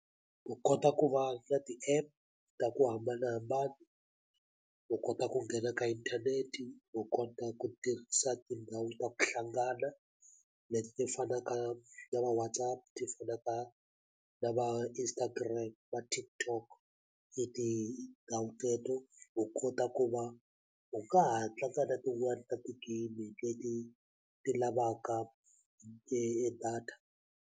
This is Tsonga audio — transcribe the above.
U kota ku va na ti-app ta ku hambanahambana u kota ku nghena ka inthanete u kota ku tirhisa tindhawu ta ku hlangana leti ti fanaka na va WhatsApp ti fanaka na va Instagram va TikTok e tindhawu teto u kota ku va u nga ha tlanga na tin'wani ta ti-game leti ti lavaka data.